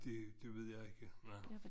Det det ved jeg ikke nej